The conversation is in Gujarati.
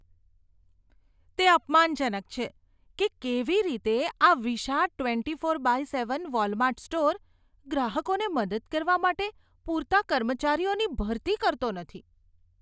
તે અપમાનજનક છે કે કેવી રીતે આ વિશાળ twenty four by seven Walmart store ગ્રાહકોને મદદ કરવા માટે પૂરતા કર્મચારીઓની ભરતી કરતો નથી.